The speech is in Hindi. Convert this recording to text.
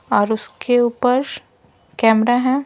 और उसके ऊपर कैमरा है।